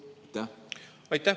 Aitäh!